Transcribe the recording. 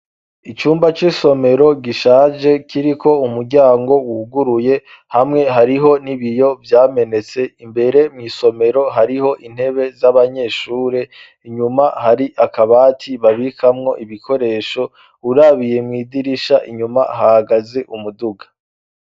Icumba c'isomero gishaje kiriko umuryango uuguruye hamwe hariho nibiyo vyamenetse imbere mw'isomero hariho intebe z'abanyeshure inyuma hari akabati babikamwo ibikoresho urabiye mw'idirisha inyuma hagaze umuduga.